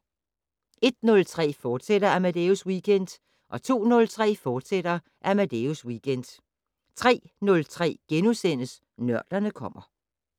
01:03: Amadeus Weekend, fortsat 02:03: Amadeus Weekend, fortsat 03:03: Nørderne kommer *